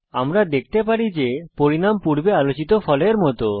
আমরা দেখতে পারি যে পরিণাম পূর্বে আলোচিত ফলের মত